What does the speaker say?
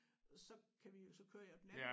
Så kan vi så kører jeg den anden